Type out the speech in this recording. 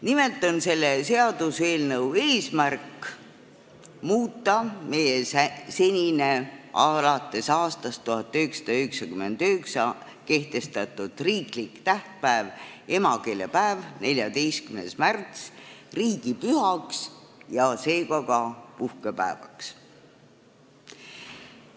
Nimelt on selle seaduseelnõu eesmärk muuta meie senine, alates aastast 1999 kehtestatud riiklik tähtpäev, emakeelepäev, 14. märts, riigipühaks ja seega ka puhkepäevaks.